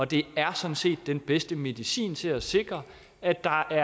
det er sådan set den bedste medicin til at sikre at der